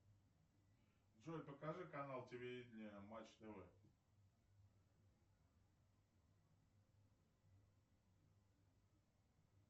джой покажи канал телевиденья матч тв